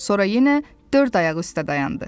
Sonra yenə dörd ayaq üstə dayandı.